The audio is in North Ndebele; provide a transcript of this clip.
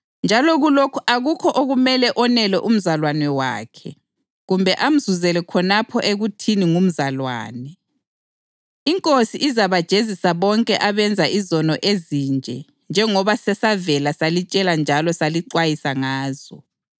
Njalo kulokhu akukho okumele onele umzalwane wakhe kumbe amzuzele khonapho ekuthini ngumzalwane. INkosi izabajezisa bonke abenza izono ezinje njengoba sesavela salitshela njalo salixwayisa ngazo.